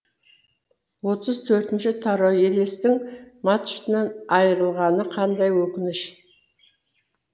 отыз төртінші тарау елестің мачтынан айырылғаны қандай өкініш